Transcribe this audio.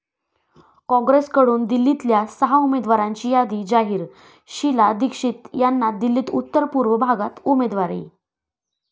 कॉंग्रेसकडून दिल्लीतल्या सहा उमेदवारांची यादी जाहीर, शीला दीक्षित यांना दिल्ली उत्तर पूर्व भागात उमेदवारी